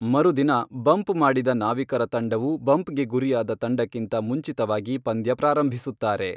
ಮರುದಿನ, ಬಂಪ್ ಮಾಡಿದ ನಾವಿಕರ ತಂಡವು ಬಂಪ್ಗೆ ಗುರಿಯಾದ ತಂಡಕ್ಕಿಂತ ಮುಂಚಿತವಾಗಿ ಪಂದ್ಯ ಪ್ರಾರಂಭಿಸುತ್ತಾರೆ.